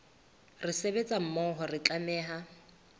re sebetsa mmoho re tlameha